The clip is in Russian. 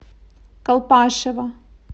колпашево